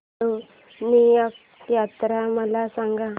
अष्टविनायक यात्रा मला सांग